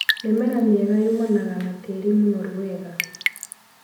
Mĩmera mĩega yũmanaga na tĩri mũnoru wega.